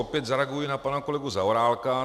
Opět zareaguji na pana kolegu Zaorálka.